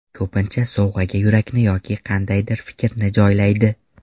Ko‘pincha sovg‘aga yurakni yoki qandaydir fikrni joylaydi.